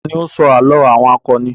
Ta ní ó ń sọ àlọ́ àwọn akọni?